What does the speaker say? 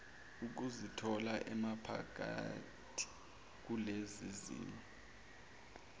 ukuzithola emaphakathi kulezizimo